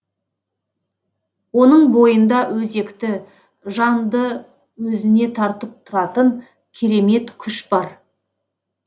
оның бойында өзекті жанды өзіне тартып тұратын керемет күш бар